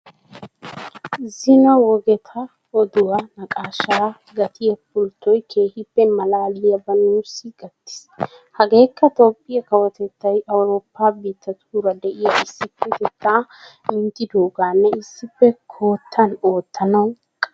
Zino wogetaa oduwa naaqaashshaa gattiya pulttoy keehippe malaaliyabaa nuussi gattiis. Hegeekka Toophphiya kawotettay Awurooppa biittatuura de'iya issipetettaa minttidoogaanne issippe kottan oottanawu qaalaa gelidooga.